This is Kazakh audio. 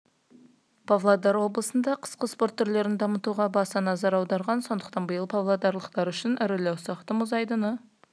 павлодар облысында қысқы спорт түрлерін дамытуға баса назар аударылған сондықтан биыл павлодарлықтар үшін ірілі-ұсақты мұз айдыны